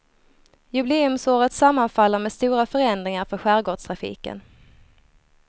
Jubileumsåret sammanfaller med stora förändringar för skärgårdstrafiken.